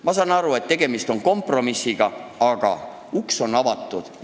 Ma saan aru, et tegemist on kompromissiga, aga uks on avatud.